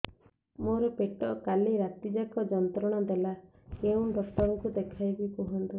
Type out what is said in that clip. ମୋର ପେଟ କାଲି ରାତି ଯାକ ଯନ୍ତ୍ରଣା ଦେଲା କେଉଁ ଡକ୍ଟର ଙ୍କୁ ଦେଖାଇବି କୁହନ୍ତ